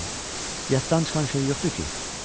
Yaddan çıxan şey yoxdur ki?